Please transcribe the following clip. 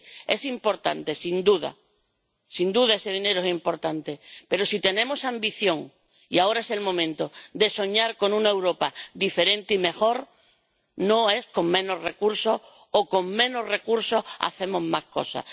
Es importante, sin duda —sin duda, ese dinero es importante—, pero si tenemos ambición, y ahora es el momento de soñar con una Europa diferente y mejor, no podemos hablar de menos recursos, o de que con menos recursos hacemos más cosas.